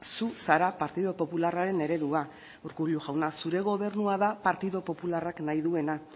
zu zara partidu popularraren eredua urkullu jauna zure gobernua da partidu popularrak nahi duena